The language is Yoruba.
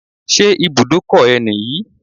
Ṣé ibùdókọ̀ ẹ nìyí?